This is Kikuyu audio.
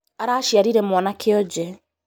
Araciarire mwana kionje